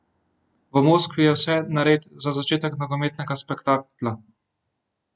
V Moskvi je vse nared za začetek nogometnega spektakla!